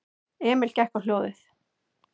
Emil gekk á hljóðið.